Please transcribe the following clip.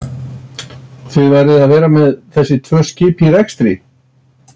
Þið verðið að vera með þessi tvö skip í rekstri?